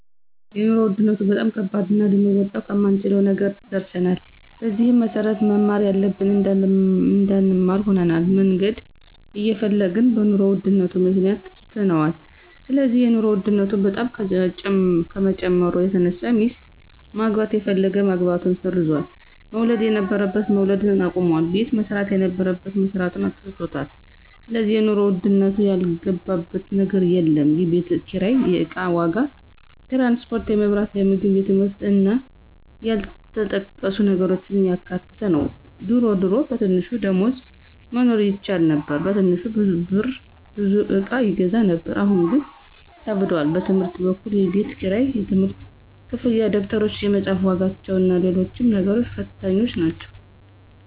የኑሮ ውድነቱ በጣም ከባድና ልንወጣው ከማንችለው ነገር ደርሰናል። በዚህም መሰረት መማር እያለብን እንዳንማር ሆነናል፣ መነገድ እየፈለግን በኑሮ ውድነቱ ምክንያት ትተነዋል ስለዚህ የኑሮ ውድነቱ በጣም ከመጨመሩ የተነሳ ሚስት ማግባት የፈለገ ማግባቱን ሰርዟል፣ መውለድ የነበረበት መውለድ አቁሟል፣ ቤት መስራት የነበረበት መስራቱን ትቶታል ስለዚህ የኑሮ ውድነቱ ያልገባበት ነገር የለም፣ የቤት ኪራይ፣ የእቃ ዋጋ፣ ትራንስፖርት፣ የመብራት፣ የምግብ የትምህርት እና ያልተጠቀሱ ነገሮችን ያካተተ ነው ድሮ ድሮ በትንሽ ደሞዝ መኖር ይቻል ነበር በትንሽ ብር ብዙ እቃ ይገዛ ነበር አሁን ግን ከብዷል። በትምህርት በኩል የቤት ክራይ፣ የትምህርት ክፍያ፣ ደብተሮች፣ የመፅሐፍ ዋጋዎችና ሎሎችም ነገሮች ፈታኞች ናቸው።